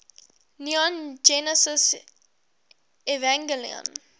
neon genesis evangelion